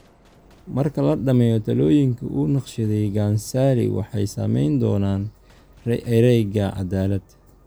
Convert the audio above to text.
Marka la dhammeeyo taallooyinkii uu naqshadeeyay Gunn-Salie waxay sameyn doonaan ereyga: 'Cadaalad?'